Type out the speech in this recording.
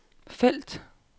felt